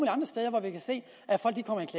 hvor vi kan se